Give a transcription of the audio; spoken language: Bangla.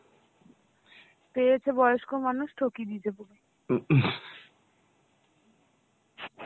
পেয়েছে বয়স্ক মানুষ ঠকিয়ে দিয়েছে পুরো